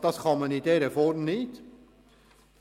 Man kann dem Antrag in dieser Form nicht Folge leisten.